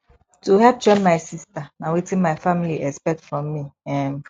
to help train my sista na wetin my family expect from me um